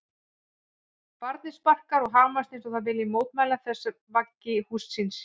Barnið sparkar og hamast eins og það vilji mótmæla þessu vaggi húss síns.